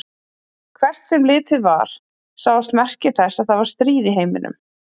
Hvert sem litið var sáust merki þess að það var stríð í heiminum.